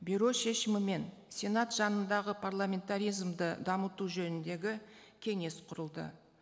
бюро шешімімен сенат жанындағы парламентаризмді дамыту жөніндегі кеңес құрылды